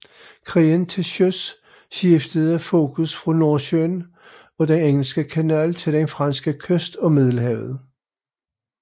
Krigen til søs skiftede fokus fra Nordsøen og den Engelske Kanal til den franske kyst og Middelhavet